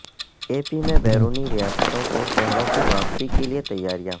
اے P میں بیرونی ریاستوں سے شہروں کی واپسی کیلئے تیاریاں